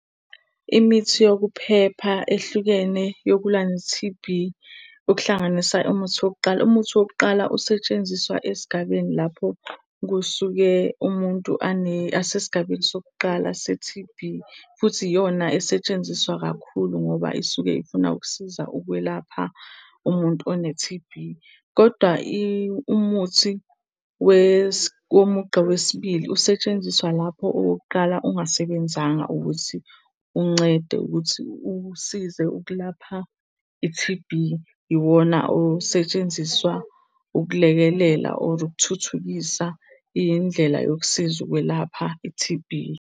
Imithi yokuphepha ehlukene yokulwa ne-T_B, okuhlanganisa umuthi wokuqala. Umuthi wokuqala usetshenziswa esigabeni lapho kusuke umuntu asesigabeni sokuqala se-T_B. Futhi iyona esetshenziswa kakhulu ngoba isuke ifuna ukusiza ukwelapha umuntu one-T_B. Kodwa umuthi womugqa wesibili usetshenziswa lapho owokuqala ungasebenzanga ukuthi uncede ukuthi usize ukulapha i-T_B. Iwona osetshenziswa ukulekelela, or ukuthuthukisa indlela yokusiza ukwelapha i-T_B.